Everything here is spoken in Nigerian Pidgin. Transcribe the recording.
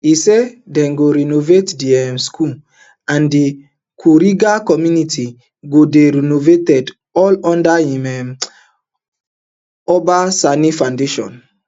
e say dem go renovate di um school and di kuriga community go dey renovated all under um im uba sani foundation